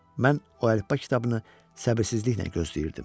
Mən o əlifba kitabını səbirsizliklə gözləyirdim.